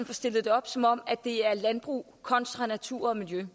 får stillet det op som om det er landbrug kontra natur og miljø